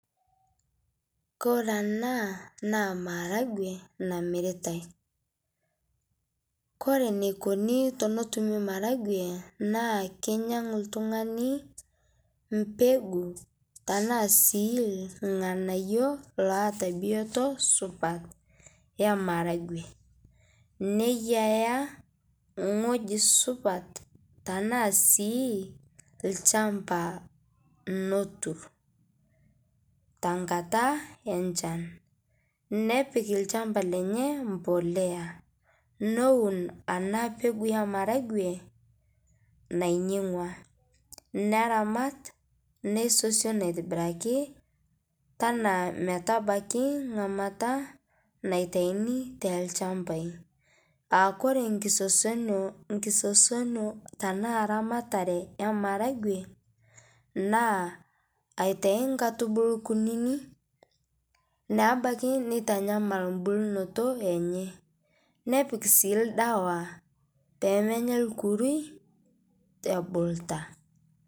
Kore ana naa maragwee namiritai kore neikoni tenetumii naa keinyang'u ltung'ani mpeguu tanaa sii lghanayoo loata biotoo supat emaragwee neiyaa nghoji supat tanaa sii lchampa notur, tankata enchan nepik lchampa lenye mpolea nowun ana pekuu emaragwee nainyeg'ua neramat neisosion aitibiraki tanaa metabakii ng'amata naitainii telshampai, aa kore nkisosonio tanaa ramararee emaragwee naa aitai nkaitubulu kunini naabaki neitanyamal mbulnoto enyee nepik sii ldawaa peemenya lkurui ebulutaa.